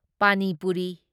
ꯄꯅꯤ ꯄꯨꯔꯤ